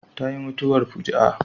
Ta yi mutuwar fuji'a